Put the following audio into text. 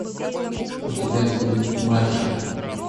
у тебя будет маршалл